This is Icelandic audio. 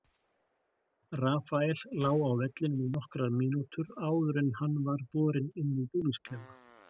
Rafael lá á vellinum í nokkrar mínútur áður en hann var borinn inn í búningsklefa.